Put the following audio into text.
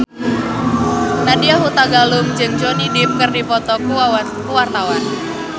Nadya Hutagalung jeung Johnny Depp keur dipoto ku wartawan